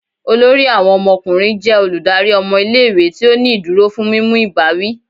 Olórí awon ọmọkùnrin jẹ Olùdarí ọmọ ilé-ìwé tí o ní ìdúró fún mímú ìbáwí